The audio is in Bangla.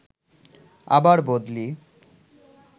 আবার বদলি